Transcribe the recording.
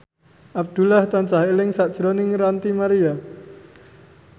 Abdullah tansah eling sakjroning Ranty Maria